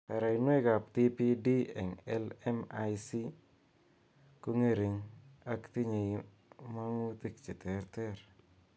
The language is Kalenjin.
Baraqinwek ab TPD eng LMICs ko ng'ering ak tinyei mang'utik che terter